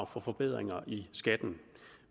for forbedringer